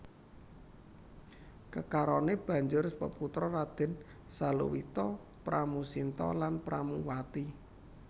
Kekarone banjur peputra Raden Saluwita Pramusinta lan Pramuwati